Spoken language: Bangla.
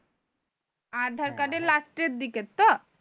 আর ধর কার্ডের লাস্টের দিকে তো